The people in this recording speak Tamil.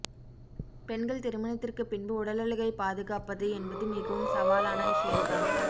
பெண்கள் திருமணத்திற்கு பின்பு உடலழகை பாதுகாப்பது என்பது மிகவும் சவாலான விஷயம் தான்